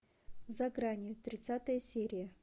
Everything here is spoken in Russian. за гранью тридцатая серия